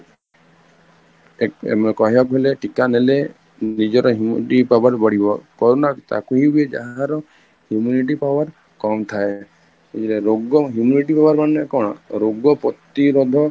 ଏମିତି କହିବା କୁ ଗଲେ ଟୀକା ନେଲେ ନିଜର immunity power ବଢିବ corona ତାକୁ ହୁଏ କି ଯାହାର immunity power କମ ଥାଏ, ରୋଗ immunity power ମାନେ କଣ ରୋଗ ପ୍ରତିରୋଧ